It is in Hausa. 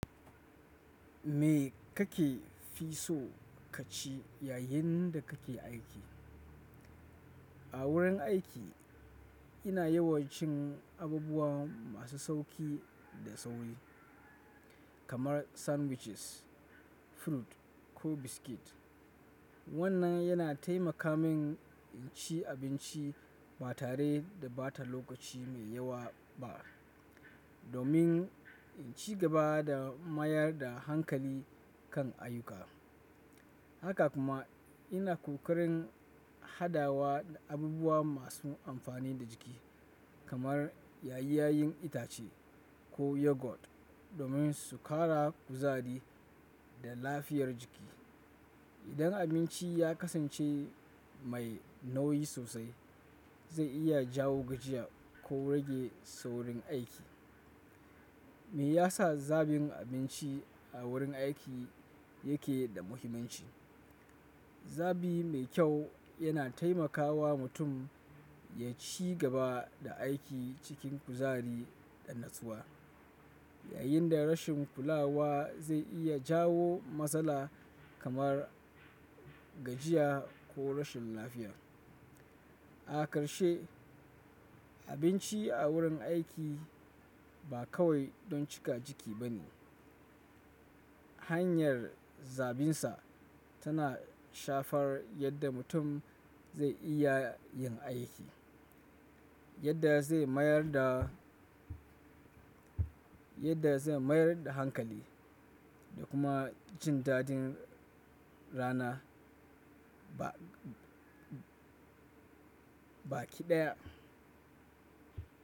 Me kake fi so ka ci yayin da kake aiki? A wurin aiki ina yawancin abubuwa masu sauƙi da sauri kamar sandwiches, fruit ko biscuit. Wannan yana taimaka min in ci abinci ba tare da ɓata lokaci mai yawa ba domin in ci gaba da mayar da hankali kan ayyuka. Haka kuma ina ƙoƙarin hadawa da abubuwa masu amfani da jiki kamar ƴaƴan itace ko yogurt domin su ƙara kuzari da lafiyar jiki. Idan abinci ya kasance mai nauyi sosai, zai iya jawo gajiya ko rage saurin aiki. Me yasa zaɓin abinci a wurin aiki yake da muhimmanci? Zabi mai kyau yana taimakawa mutum ya ci gaba da aiki cikin kuzari da natsuwa, yayin da rashin kulawa zai iya jawo matsala kamar gajiya ko rashin lafiya. A ƙarshe, abinci a wurin aiki ba kawai don cika ciki bane. Hanyar zabinsa tana shafar yadda mutum zai iya yin aiki, yadda zai mayar da, yadda zai mayar da hankali da kuma jin daɗin rana baki ɗaya.